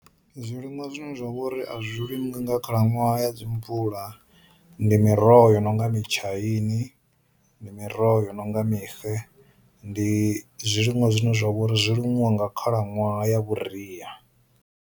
Zwi liṅwa zwine zwa vha uri a zwi limiwi nga khalaṅwaha ya dzi mvula ndi miroho yo no nga mutshaini, ndi miroho yo no nga mixe, ndi zwi liṅwa zwine zwa vha uri zwi liṅwa nga khalaṅwaha ya vhuriya.